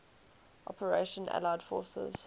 operation allied force